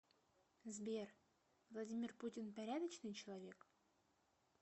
сбер владимир путин порядочный человек